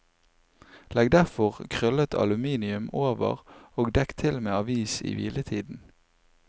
Legg derfor krøllet aluminium over og dekk til med avis i hviletiden.